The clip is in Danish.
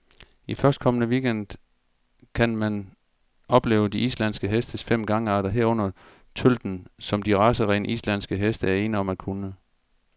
I førstkommende weekend gang kan man opleve de islandske hestes fem gangarter, herunder tølten, som de racerene, islandske heste er ene om at kunne.